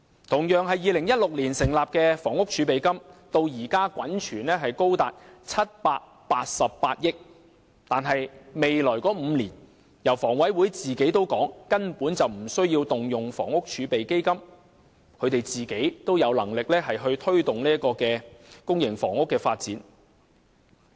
同樣是2016年成立的房屋儲備金，至今滾存高達788億元，但香港房屋委員會說未來5年根本無須動用房屋儲備基金，本身也有能力推動公營房屋的發展。